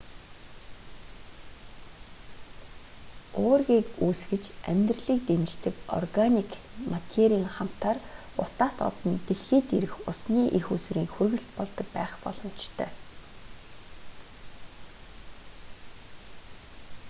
уургийг үүсгэж амьдралыг дэмждэг органик материйн хамтаар утаат од нь дэлхийд ирэх усны эх үүсвэрийн хүргэлт болдог байх боломжтой